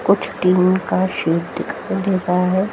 कुछ टीम का सीन दिखाइ दे रहा है।